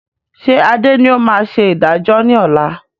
Ṣé Adé ni ó máa ṣe ìdájọ́ ni ọ̀la?